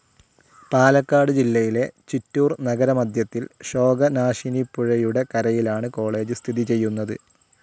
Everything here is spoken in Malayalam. പാലക്കാട് ജില്ലയില്ലേ ചിറ്റൂർ നഗരമധ്യത്തിൽ ശോകനാശിനിപ്പുഴയുടെ കരയിലാണ് കോളേജ്‌ സ്ഥിതിചെയ്യുന്നത്.